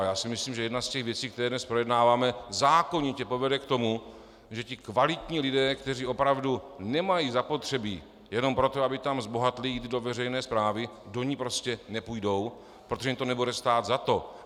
A já si myslím, že jedna z těch věcí, které dnes projednáváme, zákonitě povede k tomu, že ti kvalitní lidé, kteří opravdu nemají zapotřebí jenom proto, aby tam zbohatli, jít do veřejné správy, do ní prostě nepůjdou, protože jim to nebude stát za to.